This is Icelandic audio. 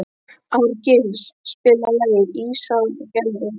Árgils, spilaðu lagið „Ísaðar Gellur“.